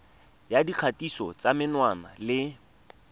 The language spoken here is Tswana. ya dikgatiso tsa menwana le